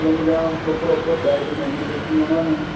problem ਜਾਂ proper diet ਨਹੀਂ ਲੀਤੀ ਉਹਨਾ ਨੇ